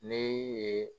Ne ye